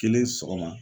Kelen sɔgɔma